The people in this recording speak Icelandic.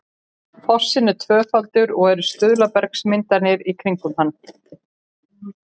fossinn er tvöfaldur og eru stuðlabergsmyndanir í kringum hann